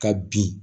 Ka bin